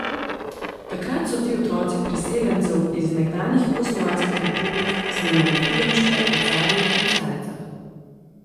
Takrat so ti otroci priseljencev iz nekdanjih jugoslovanskih republik snemali filmčke o Carju in Caricah.